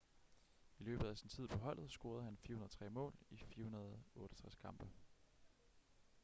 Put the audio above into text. i løbet af sin tid på holdet scorede han 403 mål i 468 kampe